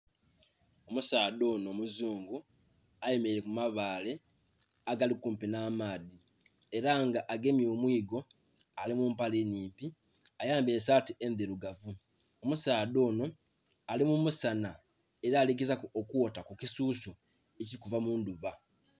Omusaadha onho muzungu ayemeleile ku mabaale agali kumpi nh'amaadhi ela nga agemye omwiigo. Ali mu mpale nnhimpi, ayambaile saati endhilugavu. Omusaadha onho ali mu musanha ela ali gezaaku okwota ku kisuusu okuva mu ndhuba.